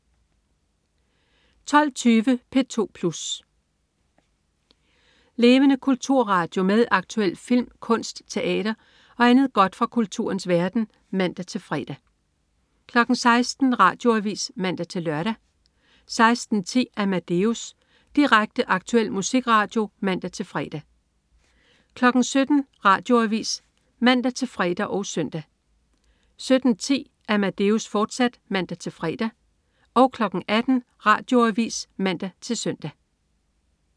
12.20 P2 Plus. Levende kulturradio med aktuel film, kunst, teater og andet godt fra kulturens verden (man-fre) 16.00 Radioavis (man-lør) 16.10 Amadeus. Direkte, aktuel musikradio (man-fre) 17.00 Radioavis (man-fre og søn) 17.10 Amadeus, fortsat (man-fre) 18.00 Radioavis (man-søn)